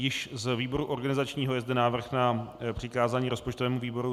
Již z výboru organizačního je zde návrh na přikázání rozpočtovému výboru.